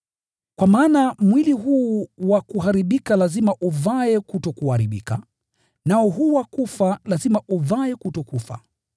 Kwa maana mwili huu wa kuharibika lazima uvae kutokuharibika, nao huu wa kufa lazima uvae kutokufa.